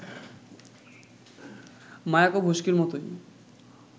মায়াকোভস্কির মতই